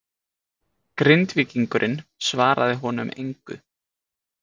Grindvíkingurinn svaraði honum engu.